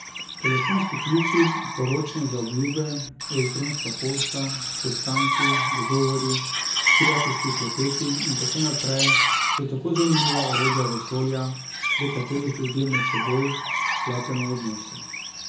Telefonski klici, poročne zaobljube, elektronska pošta, sestanki, dogovori, prijateljski klepeti in tako naprej so tako zanimiva orodja vesolja, prek katerih ljudje med seboj pletemo odnose.